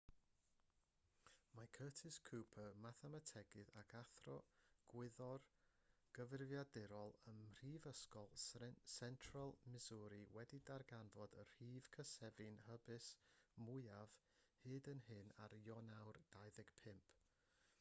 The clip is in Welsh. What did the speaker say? mae curtis cooper mathemategydd ac athro gwyddor gyfrifiadurol ym mhrifysgol central missouri wedi darganfod y rhif cysefin hysbys mwyaf hyd yn hyn ar ionawr 25